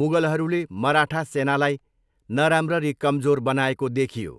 मुगलहरूले मराठा सेनालाई नराम्ररी कमजोर बनाएको देखियो।